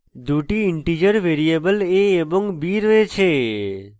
দুটি integer variable a এবং b রয়েছে